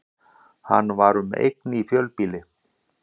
Hann var um eign í fjölbýli